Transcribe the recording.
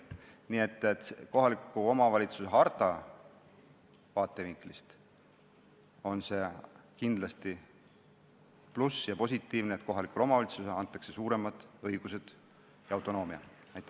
Nii et kohaliku omavalitsuse harta vaatevinklist on see kindlasti pluss ja positiivne, et kohalikule omavalitsusele antakse suuremad õigused ja rohkem autonoomiat.